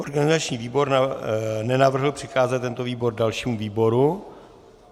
Organizační výbor nenavrhl přikázat tento návrh dalšímu výboru.